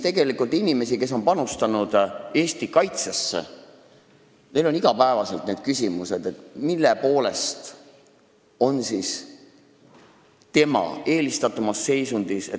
Tegelikult on inimestel, kes on panustanud Eesti kaitsesse, iga päev üleval see küsimus, miks on see, kes saab tuua tõendi, eelistatumas seisundis.